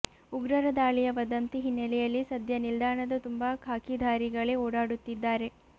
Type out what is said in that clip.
ಉಗ್ರರ ದಾಳಿಯ ವದಂತಿ ಹಿನ್ನೆಲೆಯಲ್ಲಿ ಸದ್ಯ ನಿಲ್ದಾಣದ ತುಂಬ ಖಾಕಿಧಾರಿಗಳೇ ಓಡಾಡುತ್ತಿದ್ದಾರೆ